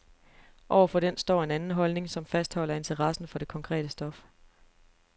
Over for den står en anden holdning, som fastholder interessen for det konkrete stof.